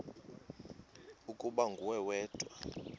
ukuba nguwe wedwa